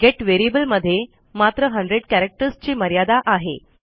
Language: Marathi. गेट व्हेरिएबलमध्ये मात्र 100 charactersची मर्यादा आहे